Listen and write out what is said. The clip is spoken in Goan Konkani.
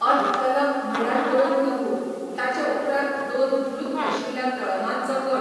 अत तलम म्हळ्यार दोन लघु, ताचे उपरांत दोन ध्रुत आशिल्ल्या तळमांचो गट.